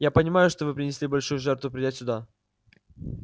я понимаю что вы принесли большую жертву придя сюда